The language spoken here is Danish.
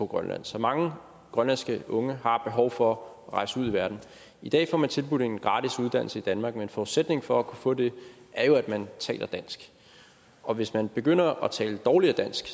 grønland så mange grønlandske unge har behov for at rejse ud i verden i dag får man tilbudt en gratis uddannelse i danmark men forudsætningen for at kunne få det er jo at man taler dansk og hvis man begynder at tale dårligere dansk